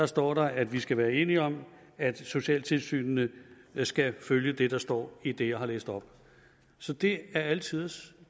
står der at vi skal være enige om at socialtilsynene skal følge det der står i det jeg har læst op så det er alle tiders